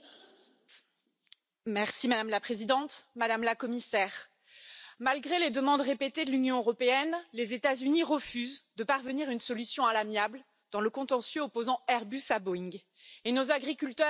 Madame la Présidente, Madame la Commissaire, malgré les demandes répétées de l'Union européenne, les États Unis refusent de parvenir à une solution à l'amiable dans le contentieux opposant Airbus à Boeing, et nos agriculteurs, notamment, en font les frais.